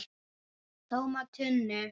TÓMA TUNNU!